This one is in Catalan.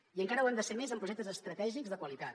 i encara ho hem de ser més en projectes estratègics de qualitat